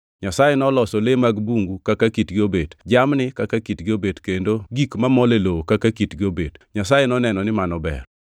Nyasaye noloso le mag bungu kaka kitgi obet; jamni kaka kitgi obet kendo gi gik mamol e lowo kaka kitgi obet. Nyasaye noneno ni mano ber.